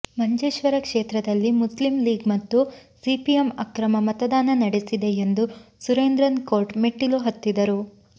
ಮಂಜೇಶ್ವರ ಕ್ಷೇತ್ರದಲ್ಲಿ Muslim League ಮತ್ತು CPM ಅಕ್ರಮ ಮತದಾನ ನಡೆಸಿದೆ ಎಂದು ಸುರೇಂದ್ರನ್ ಕೋರ್ಟ್ ಮೆಟ್ಟಿಲು ಹತ್ತಿದ್ದರು